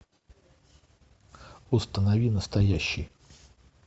установи настоящий